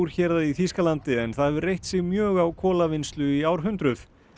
héraði í Þýskalandi en það hefur reitt sig mjög á í árhundruð